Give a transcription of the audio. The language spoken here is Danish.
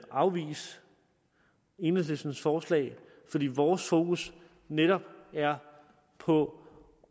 afvise enhedslistens forslag fordi vores fokus netop er på